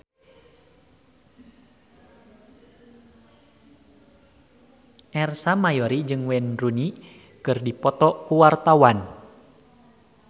Ersa Mayori jeung Wayne Rooney keur dipoto ku wartawan